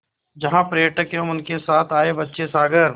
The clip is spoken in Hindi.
जहाँ पर्यटक एवं उनके साथ आए बच्चे सागर